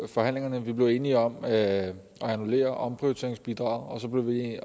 forhandlingerne vi blev enige om at annullere omprioriteringsbidraget